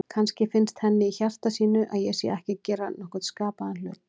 Kannski finnst henni í hjarta sínu að ég sé ekki að gera nokkurn skapaðan hlut.